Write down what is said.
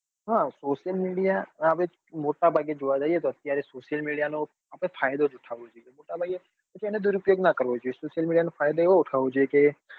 હા Social media આપડે મોટા ભાગે જોવા જઈએ તો અત્યારે social media નો ફાયદો ઉઠાવવો જોઈએ પછી એનો દુર ઉપયોગ નાં કરવો જોઈએ social media નો ફાયદો એવો ઉઠાવવો જોઈએ કે